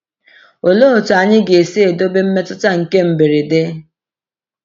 Olee otu anyị ga-esi edobe mmetụta nke mberede?